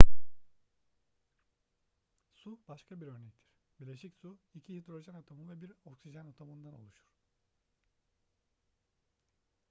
su başka bir örnektir bileşik su iki hidrojen atomu ve bir oksijen atomundan oluşur